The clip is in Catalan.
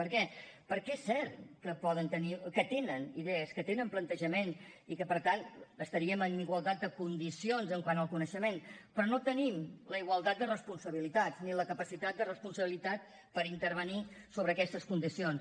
per què perquè és cert que poden tenir que tenen idees que tenen plantejament i que per tant estaríem en igualtat de condicions quant al coneixement però no tenim la igualtat de responsabilitats ni la capacitat de responsabilitat per intervenir sobre aquestes condicions